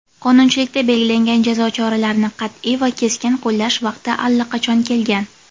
qonunchilikda belgilangan jazo choralarini qatʼiy va keskin qo‘llash vaqti allaqachon kelgan.